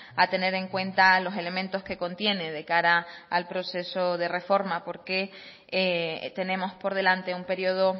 a tener en cuenta los elementos que contiene de cara al proceso de reforma porque tenemos por delante un periodo